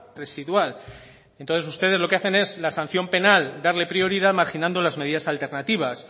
residual entonces ustedes lo que hacen es la sanción penal darle prioridad marginando las medidas alternativas